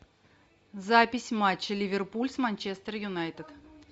запись матча ливерпуль с манчестер юнайтед